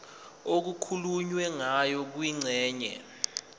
okukhulunywe ngayo kwingxenye